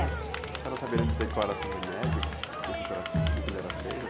A senhora saberia dizer qual era esse remédio, esse curativo, do quê que ele era feito?